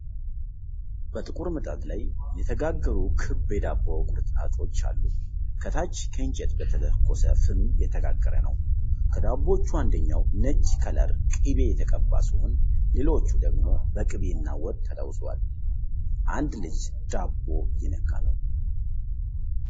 በጥቁር ምጣድ ላይ የተጋገሩ ክብ የዳቦ ቁርጥራጮች አሉ። ከታች ከእንጨት በተለኮሰ ፍም እየተጋገረ ነው። ከዳቦዎቹ አንደኛው ነጭ ከለር ቅቤ የተቀባ ሲሆን ሌሎች ደግሞ በቅቤና ወጥ ተለውሰዋል። አንድ እጅ ዳቦ እየነካ ነው።